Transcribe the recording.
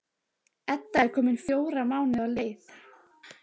Edda er komin fjóra mánuði á leið.